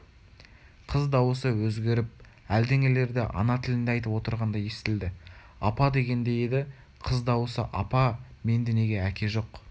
қыз дауысы өзгеріп әлденелерді ана тілінде айтып отырғандай естілді апа дегендей еді қыз дауысы апа менде неге әке жоқ